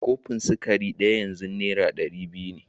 Kofin sukari ɗaya yanzu Naira ɗari biyu ne